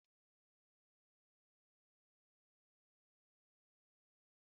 A na-esi ofe Egusi n'ememme ọ bụla n'ala Igbo